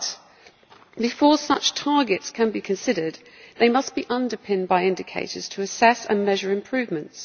But before such targets can be considered, they must be underpinned by indicators to assess and measure improvements.